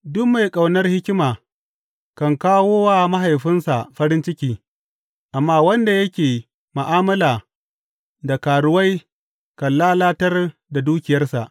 Duk mai ƙaunar hikima kan kawo wa mahaifinsa farin ciki, amma wanda yake ma’amala da karuwai kan lalatar da dukiyarsa.